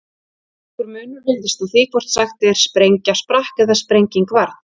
Nokkur munur virðist á því hvort sagt er sprengja sprakk eða sprenging varð.